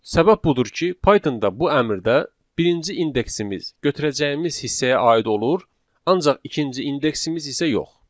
Səbəb budur ki, Pythonda bu əmrdə birinci indeksimiz götürəcəyimiz hissəyə aid olur, ancaq ikinci indeksimiz isə yox.